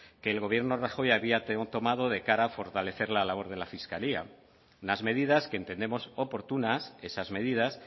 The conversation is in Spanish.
que el gobierno de rajoy había tomado de cara a fortalecer la labor de la fiscalía unas medidas que entendemos oportunas esas medidas